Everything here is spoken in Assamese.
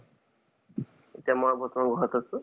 এতিয়া মই বৰ্তমান ঘৰত আছো